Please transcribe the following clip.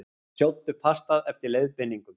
Sjóddu pastað eftir leiðbeiningum.